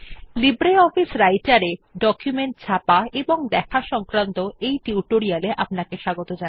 LibreOffice রাইটের এ document ছাপা এবং দেখা সংক্রান্ত টিউটোরিয়াল এ আপনাদের স্বাগত